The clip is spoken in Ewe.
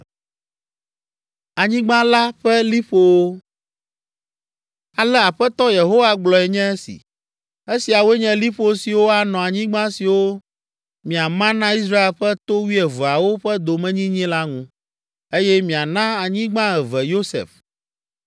Ale Aƒetɔ Yehowa gblɔe nye esi: “Esiawoe nye liƒo siwo anɔ anyigba siwo miama na Israel ƒe to wuieveawo ƒe domenyinyi la ŋu, eye miana anyigba eve Yosef.